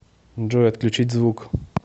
джой отключить звук